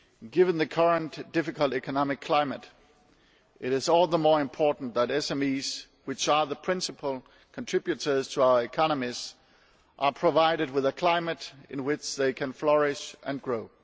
Given the current difficult economic climate, it is all the more important that SMEs, which are the principal contributors to our economies, are provided with a climate in which they can flourish and grow.